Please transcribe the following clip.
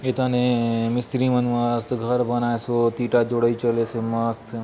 एथाने मिस्त्री मन मस्त घर बनायसोत इट्टा जोड़ाई चलेसे मस्त --